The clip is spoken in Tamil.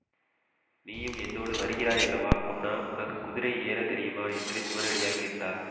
நீயும் என்னோடு வருகிறாயல்லவா பொன்னா உனக்கு குதிரை ஏற தெரியுமா என்று சிவனடியார் கேட்டார்